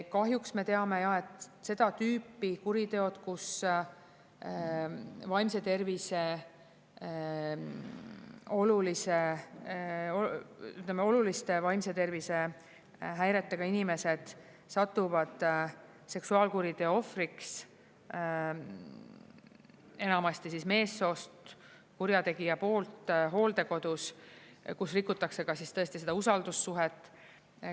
Kahjuks me teame, et seda tüüpi kuriteod, kus oluliste vaimse tervise häiretega inimesed satuvad seksuaalkuriteo ohvriks enamasti meessoost kurjategija poolt hooldekodus, kus rikutakse ka siis tõesti seda usaldussuhet.